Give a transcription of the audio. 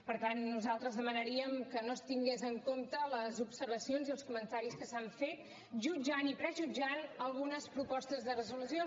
per tant nosaltres demanaríem que no es tingués en compte les observacions i els comentaris que s’han fet jutjant i prejutjant algunes propostes de resolució